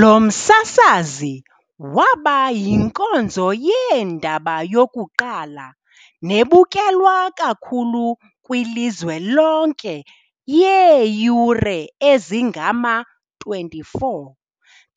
Lo msasazi waba yinkonzo yeendaba yokuqala nebukelwa kakhulu kwilizwe lonke yeeyure ezingama-24